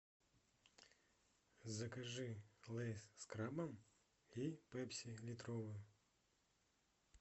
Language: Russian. закажи лейс с крабом и пепси литровую